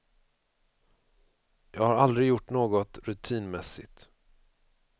Jag har aldrig gjort något rutinmässigt.